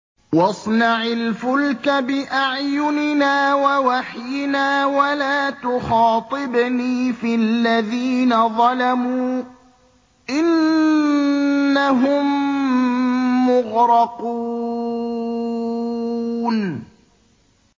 وَاصْنَعِ الْفُلْكَ بِأَعْيُنِنَا وَوَحْيِنَا وَلَا تُخَاطِبْنِي فِي الَّذِينَ ظَلَمُوا ۚ إِنَّهُم مُّغْرَقُونَ